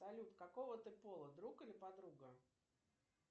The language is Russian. салют какого ты пола друг или подруга